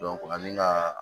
ani ka